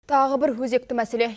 тағы бір өзекті мәселе